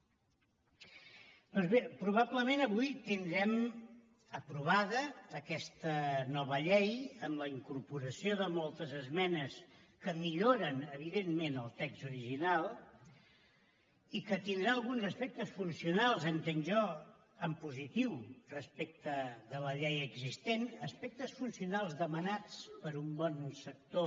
doncs bé probablement avui tindrem aprovada aquesta nova llei amb la incorporació de moltes esmenes que milloren evidentment el text original i que tindrà alguns aspectes funcionals entenc jo en positiu respecte de la llei existent aspectes funcionals demanats per un bon sector